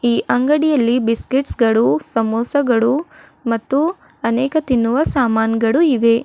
ಈ ಅಂಗಡಿಯಲ್ಲಿ ಬಿಸ್ಕೆಟ್ಸ್ ಗಳು ಸಮೋಸಗಳು ಮತ್ತು ಅನೇಕ ತಿನ್ನುವ ಸಾಮಾನ್ಗಳು ಇವೆ.